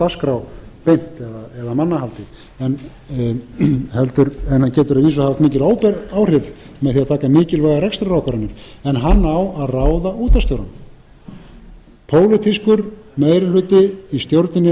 dagskrá beint eða mannahaldi en getur að vísu haft mikil óbein áhrif með því að taka mikilvægar rekstrarákvarðanir en hann á að ráða útvarpsstjórann pólitískur meiri hluti í stjórninni